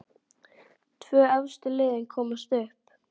Tvö efstu liðin komast upp.